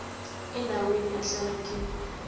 endaweni ahlala kiyo